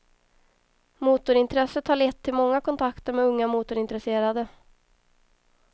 Motorintresset har lett till många kontakter med unga motorintresserade.